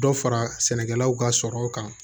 Dɔ fara sɛnɛkɛlaw ka sɔrɔ kan